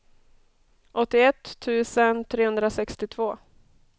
åttioett tusen trehundrasextiotvå